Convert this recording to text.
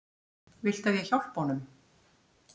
Viltu að ég hjálpi honum?